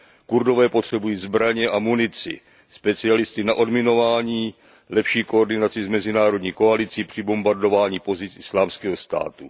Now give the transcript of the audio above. Kurdové potřebují zbraně a munici, specialisty na odminování, lepší koordinaci s mezinárodní koalicí při bombardování pozic Islámského státu.